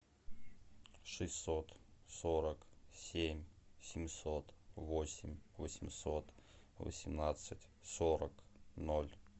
шестьсот сорок семь семьсот восемь восемьсот восемнадцать сорок ноль